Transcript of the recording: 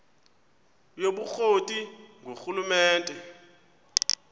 yobukro ti ngurhulumente